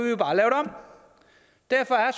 derfor er